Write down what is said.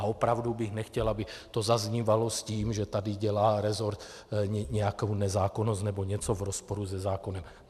A opravdu bych nechtěl, aby to zaznívalo s tím, že tady dělá rezort nějakou nezákonnost nebo něco v rozporu se zákonem.